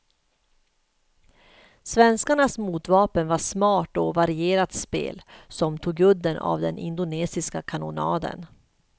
Svenskarnas motvapen var smart och varierat spel, som tog udden av den indonesiska kanonaden.